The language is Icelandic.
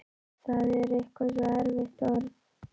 Það er eitthvað svo erfitt orð.